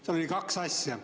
Seal oli kaks asja.